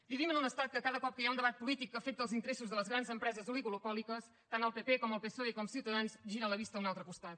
vivim en un estat que cada cop que hi ha un debat polític que afecta els interessos de les grans empreses oligopòliques tant el pp com el psoe com ciutadans giren la vista a un altre costat